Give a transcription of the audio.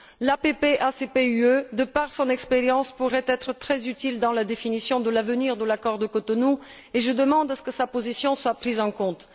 L'APP ACP UE, grâce à son expérience, pourrait être très utile dans la définition de l'avenir de l'accord de Cotonou et je demande que sa position soit prise en compte.